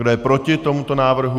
Kdo je proti tomuto návrhu?